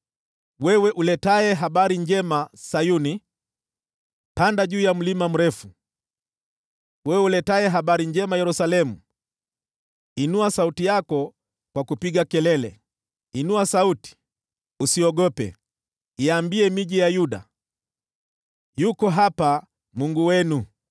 Wewe uletaye habari njema Sayuni, panda juu ya mlima mrefu. Wewe uletaye habari njema Yerusalemu, inua sauti yako kwa kupiga kelele, inua sauti, usiogope; iambie miji ya Yuda, “Yuko hapa Mungu wenu!”